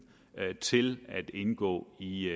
til at indgå i